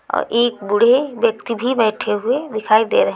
एक बूढ़े व्यक्ति भी बैठे हुए दिखाई दे रहे--